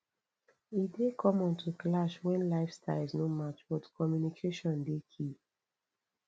e dey common to clash when lifestyles no match but communication dey key